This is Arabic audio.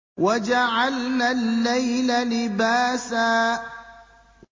وَجَعَلْنَا اللَّيْلَ لِبَاسًا